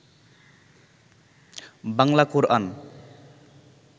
Bangla Quran